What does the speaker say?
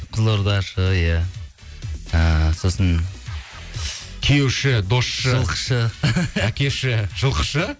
қызылордашы иә ііі сосын күйеуші досшы жылқышы әкеші жылқышы